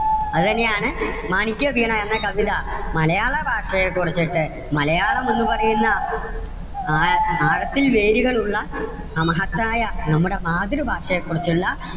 അത് തന്നെ ആണ് മാണിക്യവീണ എന്ന കവിത, മലയാള ഭാഷയെ കുറിച്ചിട്ട്, മലയാളം എന്ന് പറയുന്ന ആ~ആഴത്തിൽ വേരുകൾ ഉള്ള ആ മഹത്തായ നമ്മുടെ മാതൃഭാഷയെ കുറിച്ചുള്ള,